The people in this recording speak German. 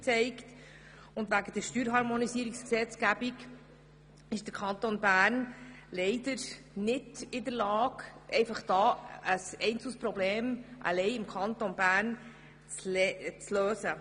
Wegen der Steuerharmonisierungsgesetzgebung ist der Kanton Bern leider nicht in der Lage, ein einzelnes Problem alleine im Kanton Bern zu lösen.